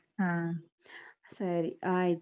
ಹಾ ಸರಿ ಆಯ್ತು.